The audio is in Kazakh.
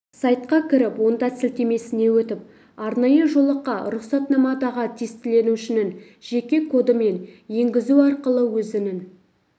сайтқа кіріп онда сілтемесіне өтіп арнайы жолаққа рұқсатнамадағы тестіленушінің жеке коды мен енгізу арқылы өзінің